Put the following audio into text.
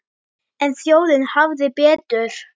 En þjóðin hafði betur.